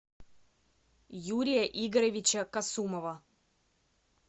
юрия игоревича касумова